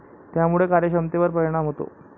त्यामुळे कार्यक्षमतेवर परिणाम होतो.